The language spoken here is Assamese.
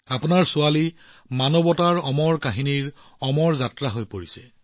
আপোনাৰ ছোৱালী মানৱতাৰ অমৰ কাহিনীৰ অমৰ ভ্ৰমণকাৰী হৈ পৰিছে